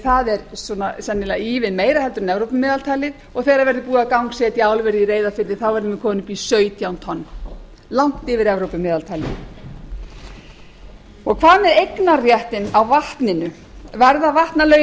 það er sennilega ívið meira en evrópumeðaltalið og þegar það verður búið að gangsetja álverið í reyðarfirði verðum við komin upp í sautján tonn langt yfir evrópumeðaltalið hvað með eignarréttinn á vatninu verða vatnalögin